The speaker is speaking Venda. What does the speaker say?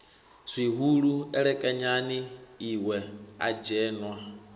zwihulu elekanyani lwe a dzheṅwa